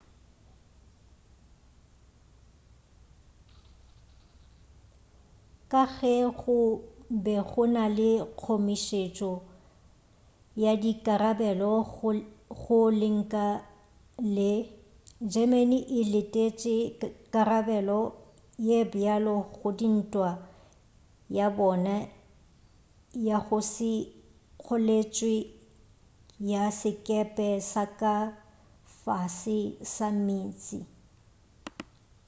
ka ge go be go na le kgomišetšo ya dikarabelo go lenka le germany e letetše karabelo ye bjalo go dintwa ya bona ya go se kgoletšwe ya sekepe sa ka fase ga meetse